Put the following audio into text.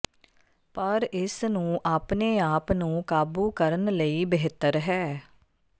ਪਰ ਇਸ ਨੂੰ ਆਪਣੇ ਆਪ ਨੂੰ ਕਾਬੂ ਕਰਨ ਲਈ ਬਿਹਤਰ ਹੈ